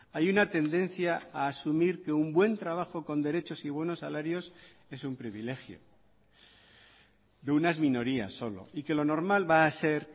hay una tendencia a asumir que un buen trabajo con derechos y buenos salarios es un privilegio de unas minorías solo y que lo normal va a ser